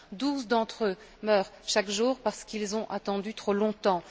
Douze d'entre eux meurent chaque jour parce qu'ils ont attendu trop longtemps.